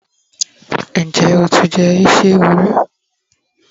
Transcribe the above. njé o ti jé isi ẹwù ri